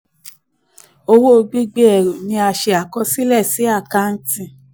owó gbígbé ẹrù ni a ṣe àkọsílẹ̀ sí àkáǹtì.